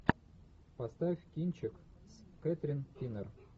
поставь кинчик с кэтрин кинер